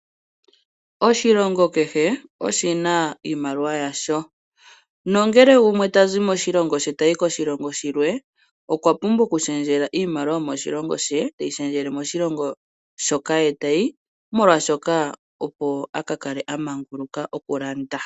Oshilongo kehe oshina iimaliwa yasho, nangele gumwe tazi moshilongo she tayi koshilongo oshikwawo okwapumbwa oku shendjela iimaliwa yomoshilongo she, teyi shendjele moshilonga moka ye tayi opo aka kale amanguluka ngele talanda.